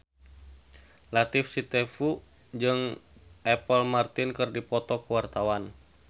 Latief Sitepu jeung Apple Martin keur dipoto ku wartawan